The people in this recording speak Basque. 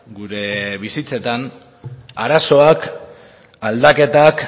gure bizitzetan arazoak aldaketak